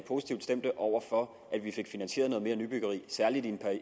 positivt stemt over for at vi fik finansieret noget mere nybyggeri særligt i